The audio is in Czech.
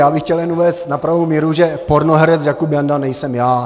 Já bych chtěl jen uvést na pravou míru, že pornoherec Jakub Janda nejsem já.